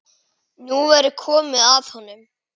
Nú væri komið að honum.